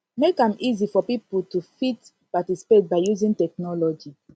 make am easy for pipo to fit participate by using technology